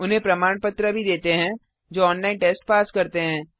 उन्हें प्रमाण पत्र भी देते है जो ऑनलाइन टेस्ट पास करते हैं